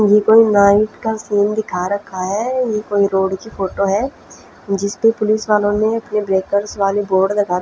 यह कोई नाईट का फुल दिखा रखा है यह कोई रोड की फोटो है जिस पर पुलिस वालो ने अपने ब्लेकर्स वाले बोर्ड लगा रखे--